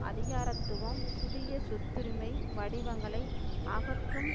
அதிகாரத்துவம் புதிய சொத்துரிமை வடிவங்களை அகற்றும்